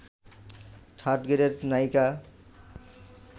third গ্রেডের নায়িকা